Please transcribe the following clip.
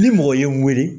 Ni mɔgɔ ye n wele